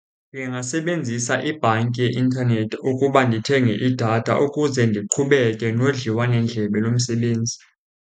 Ndingasebenzisa ibhanki yeintanethi ukuba ndithenge idatha ukuze ndiqhubeke nodliwano-ndlebe lomsebenzi.